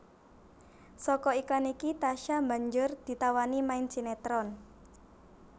Saka iklan iki Tasya banjur ditawani main sinetron